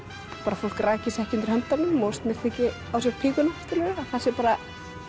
fólk raki sig ekki undir höndunum og snyrti ekki á sér píkuna að það sé bara